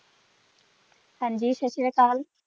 ਹਾਂਜੀ ਸਤ ਸ਼੍ਰੀ ਅਕਾਲ।